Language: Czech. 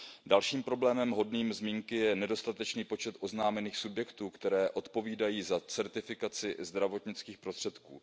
Dalším problémem hodným zmínky je nedostatečný počet oznámených subjektů, které odpovídají za certifikaci zdravotnických prostředků.